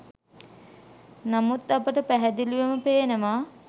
නමුත් අපට පැහැදිලිවම පේනවා